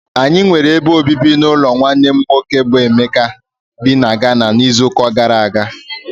Anyị nwere ebe obibi n'ụlọ nwanne nwoke nne m Emeka bị na Ghana n'izuụka gara aga.